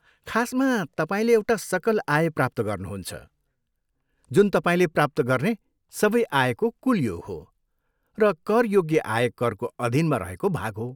खासमा, तपाईँले एउटा सकल आय प्राप्त गर्नुहुन्छ, जुन तपाईँले प्राप्त गर्ने सबै आयको कुल योग हो, र कर योग्य आय करको अधीनमा रहेको भाग हो।